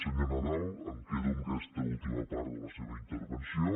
senyor nadal em quedo amb aquesta última part de la seva intervenció